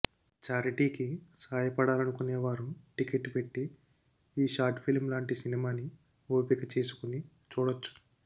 చారిటీకి సాయపడాలనుకునే వారు టికెట్ పెట్టి ఈ షార్ట్ ఫిల్మ్ లాంటి సినిమాని ఓపిక చేసుకుని చూడొచ్చు